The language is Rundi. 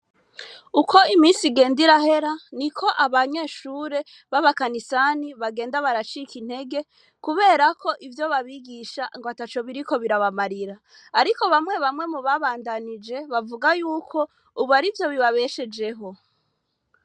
Uko imisi igenda irahera ni ko abanyeshure b'abakanisani bagenda baracika intege kuberako ivyo babigisha ngo ata co biriko birabamarira, ariko bamwe bamwe mu babandanije bavuga yuko, ubu ari vyo bibabeshejeho.